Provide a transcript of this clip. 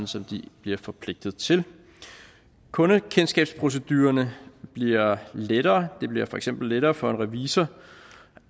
som de bliver forpligtet til kundekendskabsprocedurerne bliver lettere det bliver for eksempel lettere for en revisor